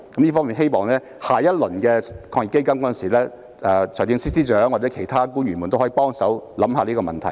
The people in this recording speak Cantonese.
對於下一輪的防疫抗疫基金，我希望財政司司長或其他官員也可以思考這個問題。